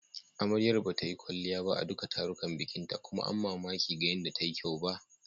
Amaryar bata yi kwalliya ba a duka tarukan bikinta kuma amma baki ga yanda ta yi kyau ba.